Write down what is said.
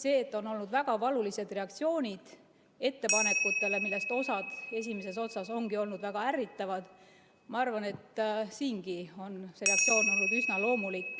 See, et on olnud väga valulised reaktsioonid ettepanekutele, millest osa esimeses otsas ongi olnud väga ärritavad, ma arvan, on üsna loomulik.